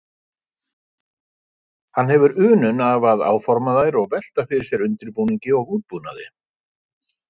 Hann hefur unun af að áforma þær og velta fyrir sér undirbúningi og útbúnaði.